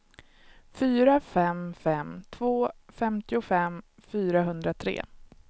fyra fem fem två femtiofem fyrahundratre